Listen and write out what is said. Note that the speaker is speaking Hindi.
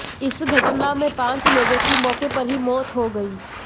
इस घटना में पांच लोगों की मौके पर ही मौत हो गई